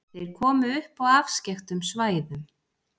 Þeir komu upp á afskekktum svæðum.